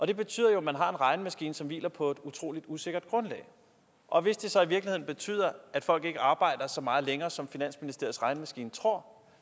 det betyder jo at man har en regnemaskine som hviler på et utrolig usikkert grundlag og hvis det så i virkeligheden betyder at folk ikke arbejder så meget længere som finansministeriets regnemaskine tror